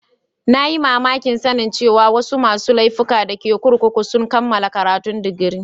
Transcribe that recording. Na yi mamaki sanin cewa wasu masun laifuka da ke kurkukun sun kamala karatun digiri.